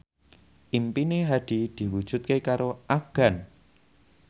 impine Hadi diwujudke karo Afgan